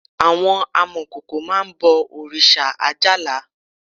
Àwọn amọ̀kòkò máá ń bọ̀ òrìṣà Ajala